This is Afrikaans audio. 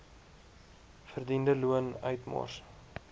verdiende loon uitmors